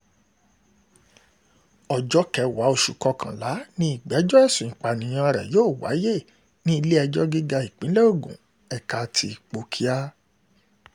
ọjọ́ kẹwàá oṣù kọkànlá ni ìgbẹ́jọ́ ẹ̀sùn ìpànìyàn rẹ̀ yóò wáyé ní ilé-ẹjọ́ gíga ìpínlẹ̀ ogun ẹ̀ka ti ipòkíà